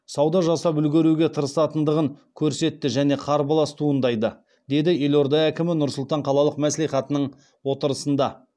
сауда жасап үлгеруге тырысатындығын көрсетті және қарбалас туындайды деді елорда әкімі нұр сұлтан қалалық мәслихатының отырысында